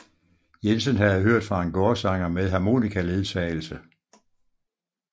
Jensen havde hørt fra en gårdsanger med harmonikaledsagelse